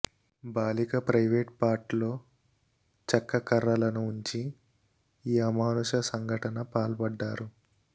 బాలిక ప్రైవేట్ పార్ట్లో చెక్క కర్రలను ఉంచి ఈ అమానుష సంఘటన పాల్పడ్డారు